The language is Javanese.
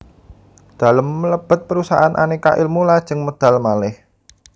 Dalem mlebet perusahaan Aneka Ilmu lajeng medal malih